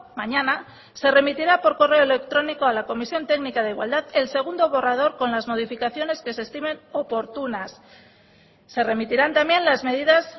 mañana se remitirá por correo electrónico a la comisión técnica de igualdad el segundo borrador con las modificaciones que se estimen oportunas se remitirán también las medidas